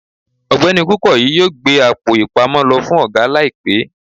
ọgbẹni kukoyi yọọ gbé Àpò-ìpamọ́ lo fún oga laípe